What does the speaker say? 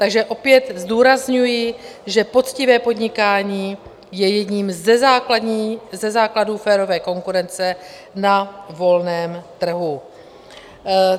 Takže opět zdůrazňuji, že poctivé podnikání je jedním ze základů férové konkurence na volném trhu.